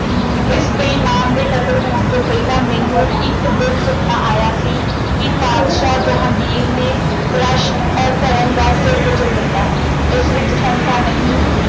ਇਸ ਬੇਈਮਾਨ ਦੇ ਕਤਲ ਹੋਣ ਤੋਂ ਪਹਿਲਾਂ ਮੈਨੂੰ ਇੱਕ ਦਿਨ ਸੁਪਨਾ ਆਇਆ ਸੀ ਕਿ ਪਾਤਸ਼ਾਹ ਜਹਾਂਗੀਰ ਨੇ ਔਰ ਧਰਮ ਦਾ ਸਿਰ ਕੁਚਲ ਦਿੱਤਾ ਹੈ। ਇਸ ਵਿੱਚ ਸ਼ੰਕਾ ਨਹੀਂ